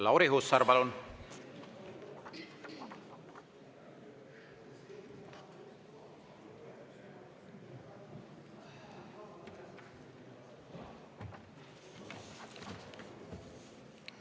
Lauri Hussar, palun!